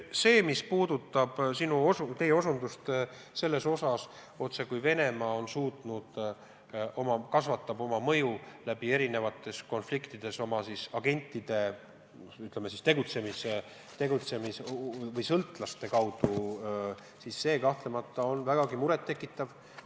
Mis puudutab sinu osutust, et Venemaa on suutnud oma mõju erinevate konfliktide korral oma agentide või, ütleme, sõltlaste tegutsemise abil suurendada, siis see kahtlemata on vägagi muret tekitav.